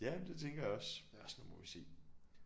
Ja det tænker jeg også men også nu må vi se